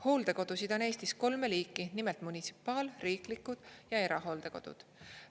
Hooldekodusid on Eestis kolme liiki, nimelt munitsipaal-, riiklikud ja erahooldekodud.